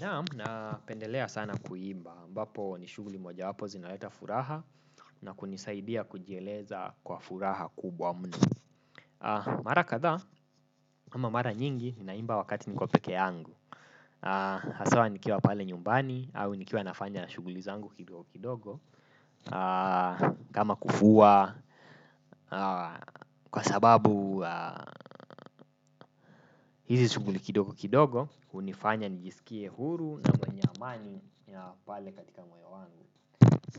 Naam napendelea sana kuimba, ambapo ni shughuli moja wapo zinaleta furaha na kunisaidia kujieleza kwa furaha kubwa mno. Mara kadhaa, ama mara nyingi, naimba wakati niko peke yangu. Haswa nikiwa pale nyumbani, au nikiwa nafanya na shughuli zangu kidogo kidogo. Kama kufua, kwa sababu hizi shughuli kidogo kidogo hunifanya nijisikia huru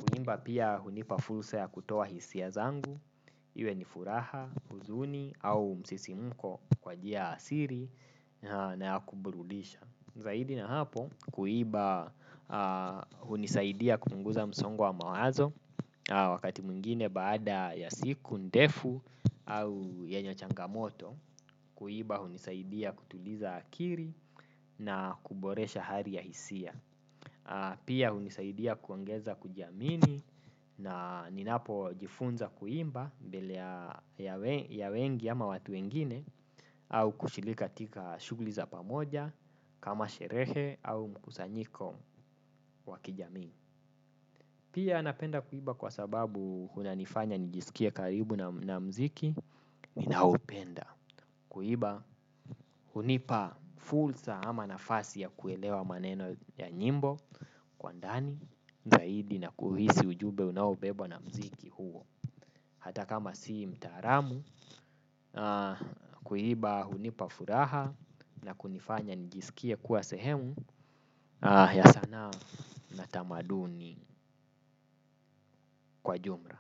kuimba pia hunipa fursa ya kutoa hisia zangu, iwe ni furaha, huzuni au msisimko kwa njia asili na ya kuburudisha zaidi ya hapo kuimba hunisaidia kupunguza msongo wa mawazo wakati mwingine baada ya siku, ndefu au yenye changamoto. Kuimba hunisaidia kutuliza akili na kuboresha hali ya hisia. Pia hunisaidia kuongeza kujiamini na ninapo jifunza kuimba mbele ya wengi ama watu wengine au kushiriki katika shughuli za pamoja kama sherehe au mkusanyiko wa kijamii. Pia napenda kuimba kwa sababu inanifanya nijisikie karibu na muziki ninaopenda kuimba hunipa fursa ama nafasi ya kuelewa maneno ya nyimbo kwa ndani, zaidi na kuhisi ujumbe unaobebwa na mzuiki huo. Hata kama si mtaalamu na kuimba hunipa furaha na kunifanya nijisikie kuwa sehemu ya sanaa na tamaduni kwa jumla.